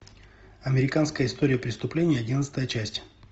американская история преступлений одиннадцатая часть